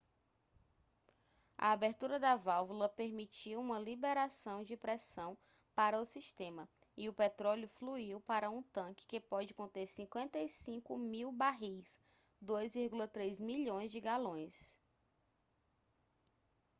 a abertura da válvula permitiu uma liberação de pressão para o sistema e o petróleo fluiu para um tanque que pode conter 55.000 barris 2,3 milhões de galões